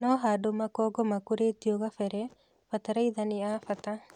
No handũ makongo makũrĩtio kabele, bataraitha ni ya bata